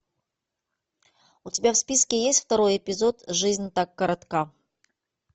у тебя в списке есть второй эпизод жизнь так коротка